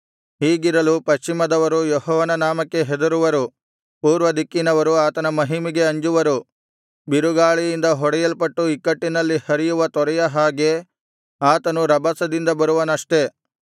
ಹೀಗಿರಲು ಪಶ್ಚಿಮದವರು ಯೆಹೋವನ ನಾಮಕ್ಕೆ ಹೆದರುವರು ಪೂರ್ವ ದಿಕ್ಕಿನವರು ಆತನ ಮಹಿಮೆಗೆ ಅಂಜುವರು ಬಿರುಗಾಳಿಯಿಂದ ಹೊಡೆಯಲ್ಪಟ್ಟು ಇಕ್ಕಟ್ಟಿನಲ್ಲಿ ಹರಿಯುವ ತೊರೆಯ ಹಾಗೆ ಆತನು ರಭಸದಿಂದ ಬರುವನಷ್ಟೆ